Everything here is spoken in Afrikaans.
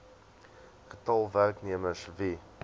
getal werknemers wie